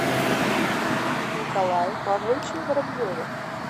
николае павловиче воробьеве